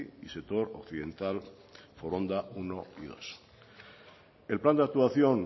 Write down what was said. y sector occidental foronda uno y dos el plan de actuación